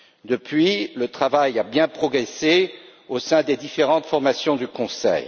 Depuis, le travail a bien progressé au sein des différentes formations du Conseil.